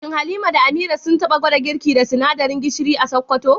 Shin Halima da Amira sun taba gwada girki da sinadarin gishir a Sakkwato?